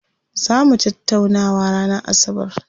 Zaa mu tattaunawa ranar asabar.